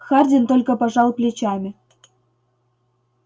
хардин только пожал плечами